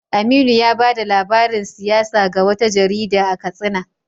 Aminu ya bada labarin siyasa ga wata jarida a Katsina.